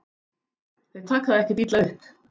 Þeir taka það ekkert illa upp.